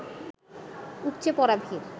উপচে পড়া ভিড়